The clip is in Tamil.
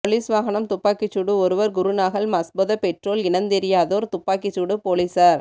பொலிஸ் வாகனம் துப்பாக்கிச் சூடு ஒருவர் குருநாகல் மஸ்பொத பெற்றோல் இனந்தெரியாதோர் துப்பாக்கி சூடு பொலிஸார்